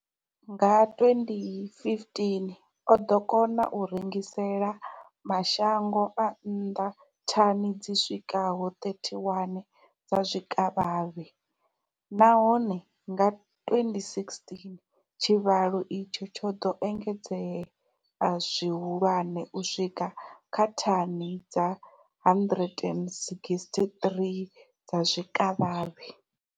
Nga 2015, o ḓo kona u rengisela mashango a nnḓa thani dzi swikaho 31 dza zwikavhavhe, nahone nga 2016 tshivhalo itshi tsho ḓo engedzea zwihulwane u swika kha thani dza 163 dza zwikavhavhe.